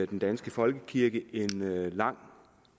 den danske folkekirke er en lang